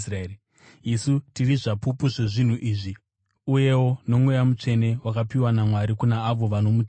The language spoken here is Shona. Isu tiri zvapupu zvezvinhu izvi, uyewo noMweya Mutsvene wakapiwa naMwari kuna avo vanomuteerera.”